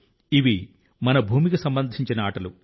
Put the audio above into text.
ఇవి మన భూమికి సంబంధించిన ఆటలు